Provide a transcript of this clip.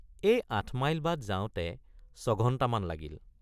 এই আঠ মাইল বাট যাওঁতে ছঘণ্টামান লাগিল।